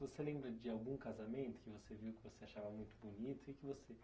Você lembra de algum casamento que você viu que você achava muito bonito e que você?